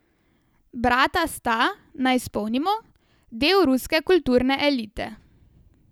Brata sta, naj spomnimo, del ruske kulturne elite.